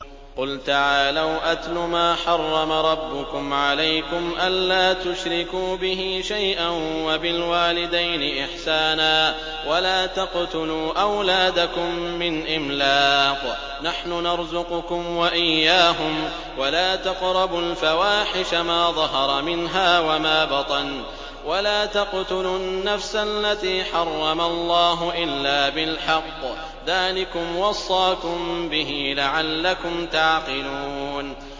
۞ قُلْ تَعَالَوْا أَتْلُ مَا حَرَّمَ رَبُّكُمْ عَلَيْكُمْ ۖ أَلَّا تُشْرِكُوا بِهِ شَيْئًا ۖ وَبِالْوَالِدَيْنِ إِحْسَانًا ۖ وَلَا تَقْتُلُوا أَوْلَادَكُم مِّنْ إِمْلَاقٍ ۖ نَّحْنُ نَرْزُقُكُمْ وَإِيَّاهُمْ ۖ وَلَا تَقْرَبُوا الْفَوَاحِشَ مَا ظَهَرَ مِنْهَا وَمَا بَطَنَ ۖ وَلَا تَقْتُلُوا النَّفْسَ الَّتِي حَرَّمَ اللَّهُ إِلَّا بِالْحَقِّ ۚ ذَٰلِكُمْ وَصَّاكُم بِهِ لَعَلَّكُمْ تَعْقِلُونَ